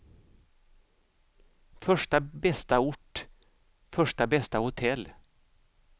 Första bästa ort, första bästa hotell.